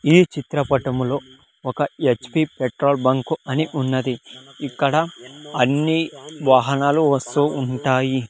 ఈ చిత్రపటంలో ఒక హెచ్_ పి పెట్రోల్ బంక్ అని ఉన్నది ఇక్కడ అన్ని వాహనాలు వస్తూ ఉంటాయి.